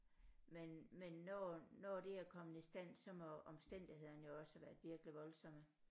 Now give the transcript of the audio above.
Men men når når det er kommet i stand så må omstændighederne jo også havde været virkelig voldsomme